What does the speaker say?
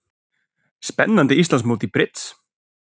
Spennandi Íslandsmót í brids